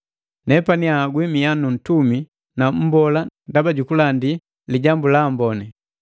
Nepani anhagwi mia nu ntumi na mmbola ndaba jukulandi Lijambu la Amboni,